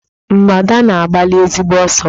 Mgbadà na-agbali ezigbo ọsọ.